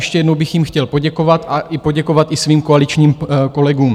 Ještě jednou bych jim chtěl poděkovat a poděkovat i svým koaličním kolegům.